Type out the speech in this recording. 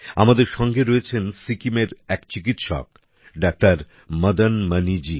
আমাদের সঙ্গে আছেন সিক্কিমের এক চিকিৎসক ডাক্তার মদন মণিজী